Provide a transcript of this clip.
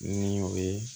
Ni o ye